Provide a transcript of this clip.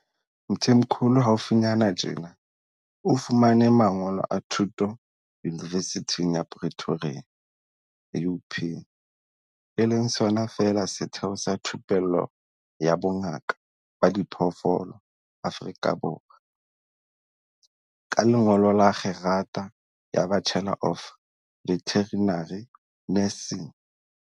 Mthimkhulu haufinyana tjena o fumane mangolo a thuto Yunivesithing ya Pretoria, UP, e leng sona feela setheo sa thupello ya bo ngaka ba diphoofolo Afrika Borwa, ka lengolo la kgerata ya Bachelor of Veterinary Nursing.